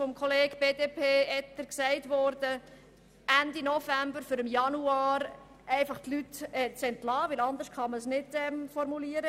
Von Kollege Etter wurde erwähnt, dass man mit diesem Vorstoss zwischen Ende November und Anfang Januar Stellen abbauen müsste.